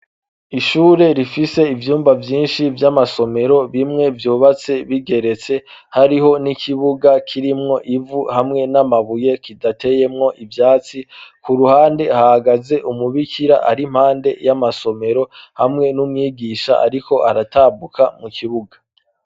Ishure rifise ivyumba vyinshi vy'amasomero bimwe vyubatse bigeretse hariho n'ikibuga kirimwo ivu hamwe n'amabuye kidateyemwo ibyatsi ku ruhande hagaze umubikira ari mpande y'amasomero hamwe n'umwigisha ariko aratabuka mu kibuga.